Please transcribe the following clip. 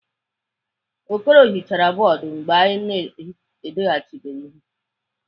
Okoro hichara bọọdụ mgbe anyị na-edechabeghị ihe.